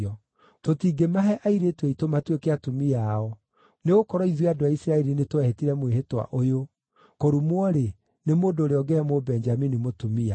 Tũtingĩmahe airĩtu aitũ matuĩke atumia ao, nĩgũkorwo ithuĩ andũ a Isiraeli nĩtwehĩtire mwĩhĩtwa ũyũ: ‘Kũrumwo-rĩ, nĩ mũndũ ũrĩa ũngĩhe Mũbenjamini mũtumia.’